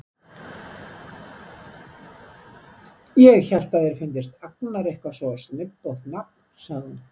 Ég hélt að þér fyndist Agnar eitthvað svo snubbótt nafn, sagði hún.